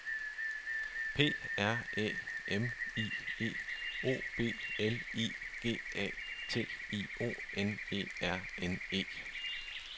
P R Æ M I E O B L I G A T I O N E R N E